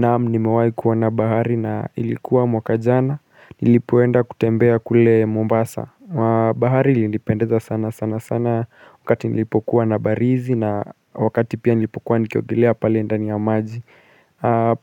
Naam niemwai kuona na bahari na ilikuwa mwaka jana Nilipoenda kutembea kule Mombasa bahari lilipendeza sana sana sana Wakati nilipokuwa na barizi na wakati pia nilipokuwa nikiogelea pali ndani ya maji.